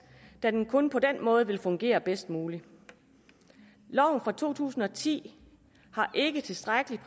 da den kun på den måde vil fungere bedst muligt loven fra to tusind og ti har ikke tilstrækkeligt